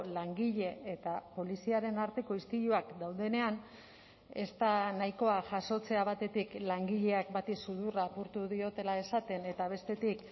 langile eta poliziaren arteko istiluak daudenean ez da nahikoa jasotzea batetik langileak bati sudurra apurtu diotela esaten eta bestetik